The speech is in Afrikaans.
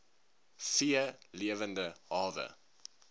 v lewende hawe